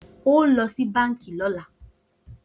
O ó lo̩ sí báǹkì ló̩la!